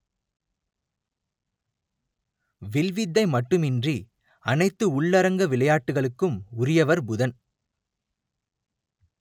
will வித்தை மட்டுமின்றி அனைத்து உள்ளரங்க விளையாட்டுகளுக்கும் உரியவர் புதன்